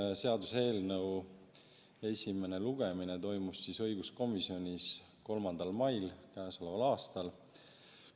Selle seaduseelnõu esimene lugemine toimus õiguskomisjonis 3. mail käesoleval aastal.